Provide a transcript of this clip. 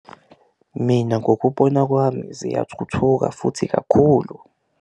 Mina ngokubona kwami ziyathuthuka futhi kakhulu.